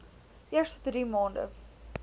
eerste drie maande